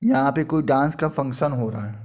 यहाँ पे कोई डांस का फंक्शन हो रहा है।